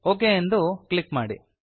okay ಎಂದು click ಮಾಡಿ